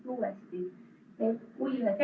Suur tänu!